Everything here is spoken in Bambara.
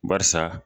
Barisa